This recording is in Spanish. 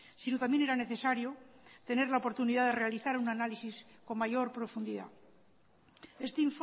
sino también era necesario tener la oportunidad de realizar un análisis con mayor profundidad este